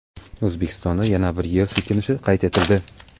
O‘zbekistonda yana bir yer silkinishi qayd etildi.